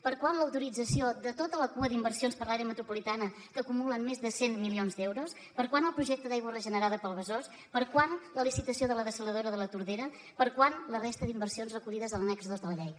per quan l’autorització de tota la cua d’inversions per l’àrea metropolitana que acumulen més de cent milions d’euros per quan el projecte d’aigua regenerada del besòs per quan la licitació de la dessaladora de la tordera per quan la resta d’inversions recollides a l’annex dos de la llei